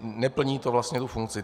neplní to vlastně tu funkci.